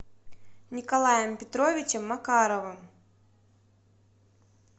николаем петровичем макаровым